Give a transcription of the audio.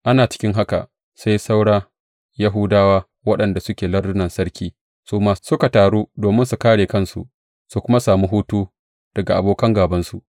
Ana cikin haka, sai saura Yahudawa waɗanda suke lardunan sarki su ma suka taru domin su kāre kansu su kuma sami hutu daga abokan gābansu.